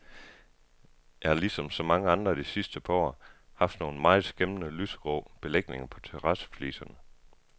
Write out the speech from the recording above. Jeg har ligesom så mange andre de sidste par år haft nogle meget skæmmende lysegrå belægninger på terrassefliserne.